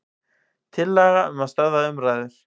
Tillaga um að stöðva umræður.